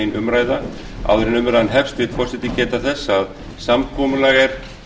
áður en umræðan hefst vill forseti geta þess að samkomulag er